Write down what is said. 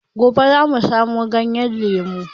Gobe za a samo ganyen lemu.